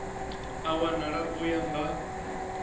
a wana u ya nga